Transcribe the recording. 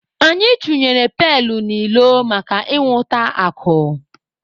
Anyị chunyere pailu n'ilo maka inwụta akụ.